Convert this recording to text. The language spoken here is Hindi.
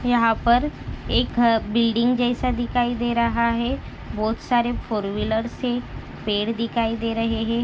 यहा पर एक बिल्डिंग जैसा दिखाई दे रहा है बहुत सारे फोरवीलर्स है पेड़ दिखाई दे रहे है।